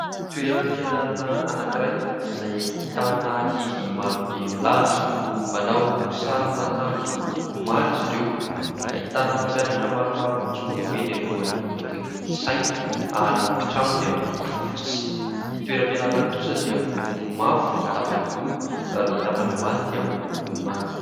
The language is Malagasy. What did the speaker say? Toeram-pianarana anankiray izay ahitana ankizy marobe milahatra. Manao saron' akanjo miloko maro izy ireo. Ahitana mpampianatra maromaro mijoro eny alohany akaikin'ny saina, ary ny trano dia miloko fotsy. Ny toeram-pianarana kosa dia miloko mavo ny tapany ambony ary ny tapany ambany dia miloko manga.